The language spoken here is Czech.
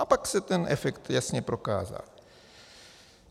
A pak se ten efekt jasně prokázal.